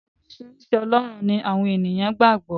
Oríṣiríṣi ọlọ́run ni àwọn èèyàn gbà gbọ́.